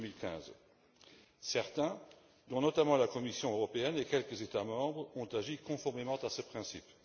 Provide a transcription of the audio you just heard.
2015. Certains, dont notamment la Commission européenne et quelques États membres, ont agi conformément à ce principe.